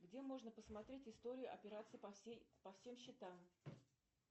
где можно посмотреть историю операций по всем счетам